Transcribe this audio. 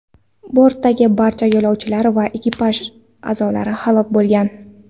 Bortdagi barcha yo‘lovchilar va ekipaj a’zolari halok bo‘lgan.